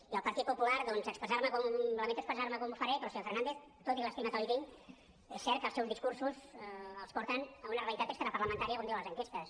i al partit popular doncs lamento expressar me com ho faré però senyor fernández tot i l’estima que li tinc és cert que els seus discursos els porten a una realitat extraparlamentària com diuen les enquestes